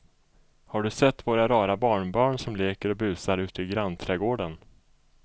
Har du sett våra rara barnbarn som leker och busar ute i grannträdgården!